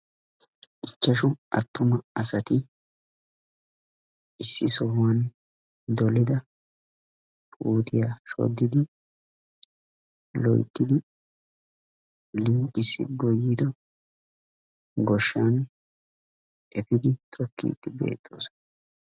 Ichchashu attuma asati issi sohuwan dolida puutiya shoddidi loyttidi liiqissi goyyido goshshan efiidi tokkiiddi beettoosona.